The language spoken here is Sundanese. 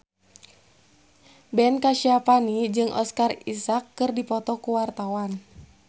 Ben Kasyafani jeung Oscar Isaac keur dipoto ku wartawan